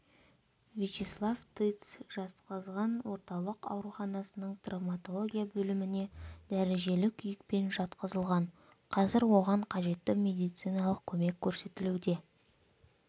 вячеслав тыц жезқазған орталық ауруханасының травматология бөліміне дәрежелі күйікпен жатқызылған қазір оған қажетті медициналық көмек көрсетілуде